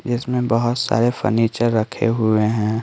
इसमें बहुत सारे फर्नीचर रखे हुए हैं।